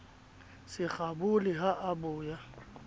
se kgabole ha a boya